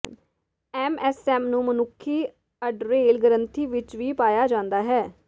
MSM ਨੂੰ ਮਨੁੱਖੀ adrenal ਗ੍ਰੰਥੀ ਵਿਚ ਵੀ ਪਾਇਆ ਜਾਂਦਾ ਹੈ